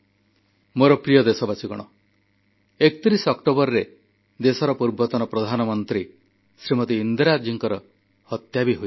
ମୋର ପ୍ରିୟ ଦେଶବାସୀ 31 ଅକ୍ଟୋବରରେ ଦେଶର ପୂର୍ବତନ ପ୍ରଧାନମନ୍ତ୍ରୀ ଶ୍ରୀମତି ଇନ୍ଦିରା ଜୀଙ୍କ ହତ୍ୟା ବି ହୋଇଥିଲା